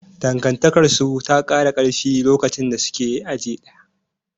Dangantakarsu ta kara karfi lokacin da suke aji ɗaya.